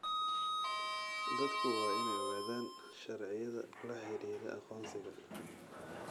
Dadku waa inay ogaadaan sharciyada la xidhiidha aqoonsiga.